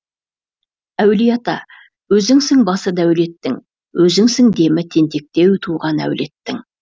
әулие ата өзіңсің басы дәулеттің өзіңсің демі тентектеу туған әулеттің